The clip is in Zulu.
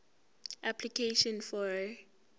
application for a